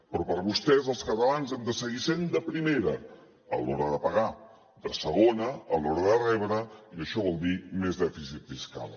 però per vostès els catalans hem de seguir sent de primera a l’hora de pagar de segona a l’hora de rebre i això vol dir més dèficit fiscal